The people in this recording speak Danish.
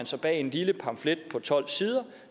sig bag en lille pamflet på tolv sider